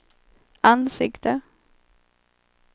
ansikte